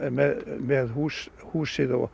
með húsið húsið og